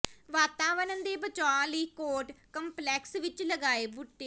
ਵਾਤਾਵਰਣ ਦੇ ਬਚਾਅ ਲਈ ਕੋਰਟ ਕੰਪਲੈਕਸ ਵਿਚ ਲਗਾਏ ਬੂਟੇ